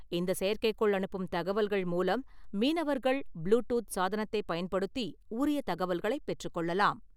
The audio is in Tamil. இந்த செயற்கைக்கோள் அனுப்பும் தகவல்கள் மூலம் மீனவர்கள் ப்ளு டூத் சாதனத்தை பயன்படுத்தி, உரிய தகவல்களை பெற்றுக்கொள்ளலாம்.